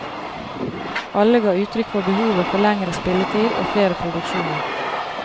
Alle ga uttrykk for behovet for lengre spilletid og flere produksjoner.